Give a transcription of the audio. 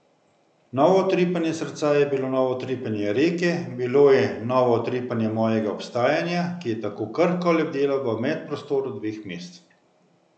Novo utripanje srca je bilo novo utripanje reke, bilo je novo utripanje mojega obstajanja, ki je tako krhko lebdelo v medprostoru dveh mest.